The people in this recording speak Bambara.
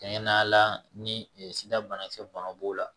Kɛɲɛ na ni sida bana kisɛbana b'o la